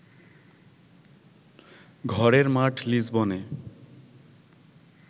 ঘরের মাঠ লিসবনে